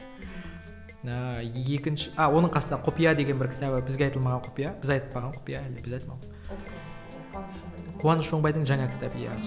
ыыы екінші а оның қасында құпия деген бір кітабы бізге айтылмаған құпия біз айтпаған құпия қуаныш оңбайдың жаңа кітабы иә